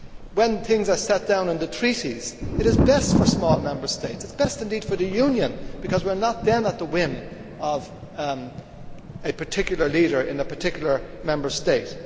When things are set down in the Treaties it is best for small Member States, it is best indeed for the Union, because we are not then at the whim of a particular leader in a particular Member State.